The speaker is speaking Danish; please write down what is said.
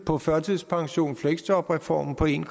på førtidspensions og fleksjobreformen på en